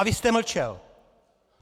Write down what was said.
A vy jste mlčel!